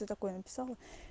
ты такое написала